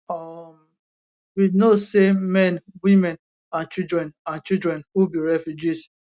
um we know say men women and children and children who be refugees